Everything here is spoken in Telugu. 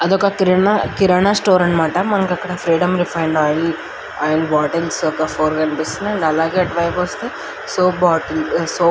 అదొక కిరాణా కిరాణా షాప్ అన్నమాట. మనకు అక్కడ freedom refine oil oil bottles ఒక ఫోర్ కనిపిస్తున్నాయి అలాగే ఇటువైపు వస్తే సోప్ బాటిల్ సోప్ --